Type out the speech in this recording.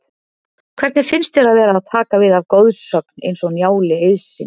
Hvernig finnst þér að vera að taka við af goðsögn eins og Njáli Eiðssyni?